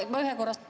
Ma ühe korra ...